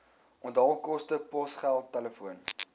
onthaalkoste posgeld telefoon